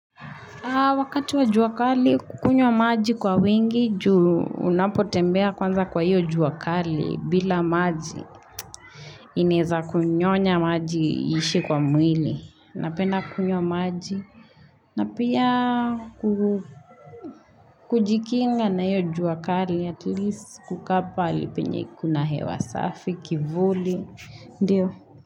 Wakati wa jua kali kunywa maji kwa wingi juu unapotembea kwanza kwa iyo jua kali bila maji ineza kunyonya maji iishe kwa mwili. Napenda kunywa maji na pia ku kujikinga na iyo jua kali atleast kukaa pahali penye kuna hewa safi, kivuli.